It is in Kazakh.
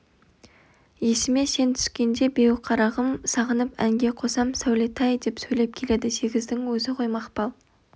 есіме сен түскенде беу қарағым сағынып әнге қосам сәулетай деп сөйлеп келеді сегіздің өзі ғой мақпал